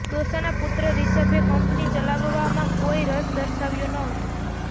દોસાના પુત્ર રિષભે કંપની ચલાવવામાં કોઇ રસ દર્શાવ્યો ન હતો